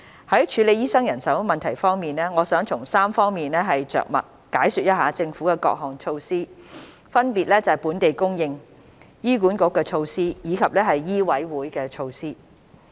在處理醫生人手問題方面，我想從3方面着墨解說一下政府的各項措施，分別是"本地供應"、"醫管局措施"以及"醫委會措施"。